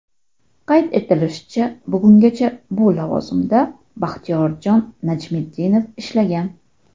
Qayd etilishicha, bugungacha bu lavozimda Baxtiyorjon Najmiddinov ishlagan.